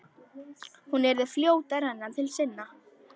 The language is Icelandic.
Hún yrði fljót að renna til sinna.